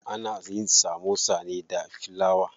Ana yin samosa ne da filawa.